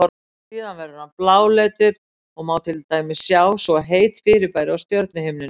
Síðan verður hann bláleitur og má til dæmis sjá svo heit fyrirbæri á stjörnuhimninum.